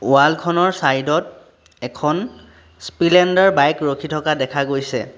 Wall খনৰ side ত এখন স্পিলেণ্ডাৰ বাইক ৰখি থকা দেখা গৈছে।